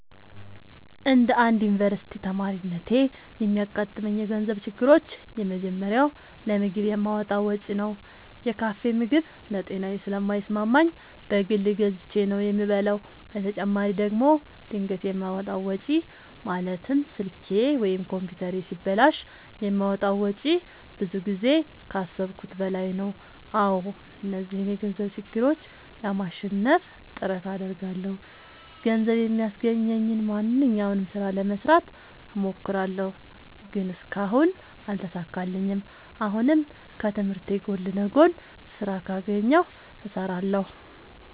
እንደ አንድ ዮኒቨርስቲ ተማሪነቴ የሚያጋጥሙኝ የገንዘብ ችግሮች የመጀመሪያው ለምግብ የማወጣው ወጪ ነው። የካፌ ምግብ ለጤናዬ ስለማይስማማኝ በግል ገዝቼ ነው የምበላው በተጨማሪ ደግሞ ድንገት የማወጣው ወጪ ማለትም ስልኬ ወይም ኮምፒውተሬ ሲበላሽ የማወጣው ወጪ ብዙ ጊዜ ከአሠብኩት በላይ ነው። አዎ እነዚህን የገንዘብ ችግሮች ለማሸነፍ ጥረት አደርጋለሁ። ገንዘብ የሚያስገኘኝን ማንኛውንም ስራ ለመስራት እሞክራለሁ። ግን እስካሁን አልተሳካልኝም። አሁንም ከትምህርቴ ጎን ለጎን ስራ ካገኘሁ እሠራለሁ።